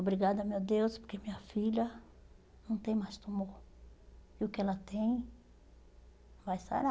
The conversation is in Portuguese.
Obrigada meu Deus, porque minha filha não tem mais tumor e o que ela tem vai sarar